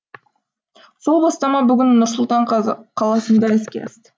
сол бастама бүгін нұр сұлтан қаласында іске асты